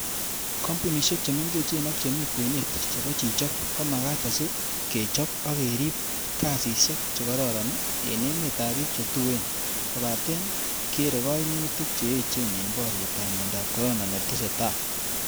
Kompunisiek che mengechen ak chemi kwenet chebo chichok ko magat asi kechob ak kerib kasisiek che kororon en emetab bik che tuen, kobaten keere koimutik che echen en boriet ab miondab corona netesetai.